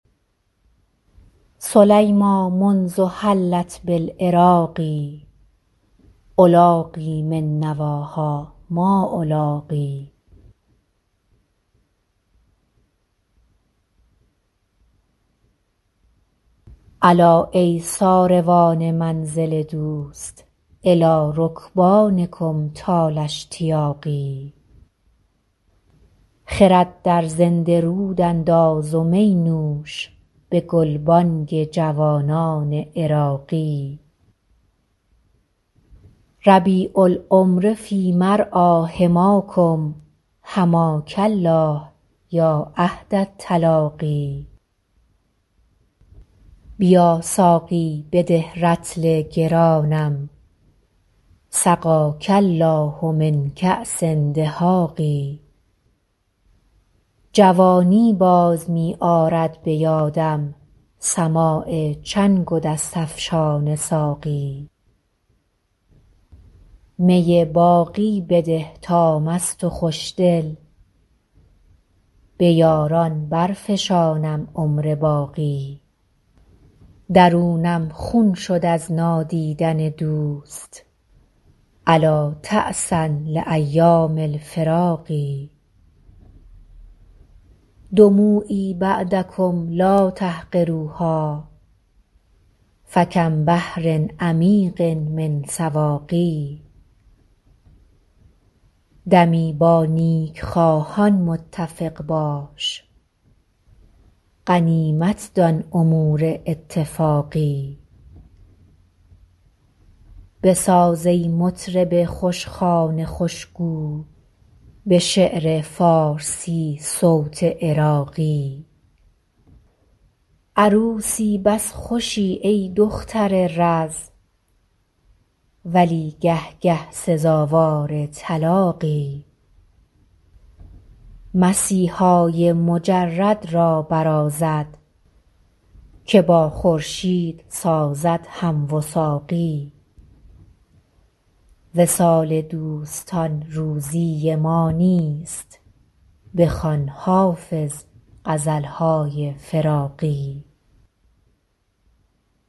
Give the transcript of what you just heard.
سلیمیٰ منذ حلت بالعراق ألاقی من نواها ما ألاقی الا ای ساروان منزل دوست إلی رکبانکم طال اشتیاقی خرد در زنده رود انداز و می نوش به گلبانگ جوانان عراقی ربیع العمر فی مرعیٰ حماکم حماک الله یا عهد التلاقی بیا ساقی بده رطل گرانم سقاک الله من کأس دهاق جوانی باز می آرد به یادم سماع چنگ و دست افشان ساقی می باقی بده تا مست و خوشدل به یاران برفشانم عمر باقی درونم خون شد از نادیدن دوست ألا تعسا لأیام الفراق دموعی بعدکم لا تحقروها فکم بحر عمیق من سواق دمی با نیکخواهان متفق باش غنیمت دان امور اتفاقی بساز ای مطرب خوشخوان خوشگو به شعر فارسی صوت عراقی عروسی بس خوشی ای دختر رز ولی گه گه سزاوار طلاقی مسیحای مجرد را برازد که با خورشید سازد هم وثاقی وصال دوستان روزی ما نیست بخوان حافظ غزل های فراقی